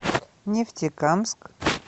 нефтекамск